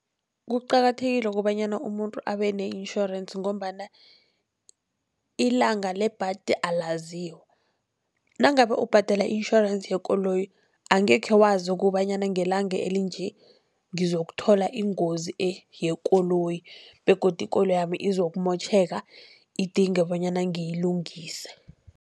Kuqakathekile kobanyana umuntu abe ne-insurance, ngombana ilanga lebhadi alaziwa. Nangabe ubhadela i-insurance yekoloyi angekhe wazi kobanyana ngelanga elinje ngizokuthola ingozi yekoloyi begodu ikoloyi yami izokumotjheka idinge bonyana ngiyilungise.